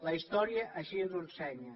la història així ens ho ensenya